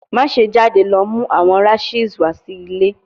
Maṣe jade lọ mu awọn rashes wa si ile